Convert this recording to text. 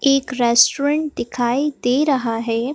एक रेस्टोरेंट दिखाई दे रहा है।